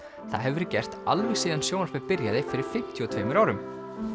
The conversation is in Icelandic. það hefur verið gert alveg síðan sjónvarpið byrjaði fyrir fimmtíu og tveimur árum